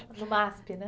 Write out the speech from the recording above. No Masp, né?